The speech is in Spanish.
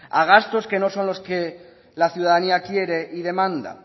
a gastos que no son los que la ciudadanía quiere y demanda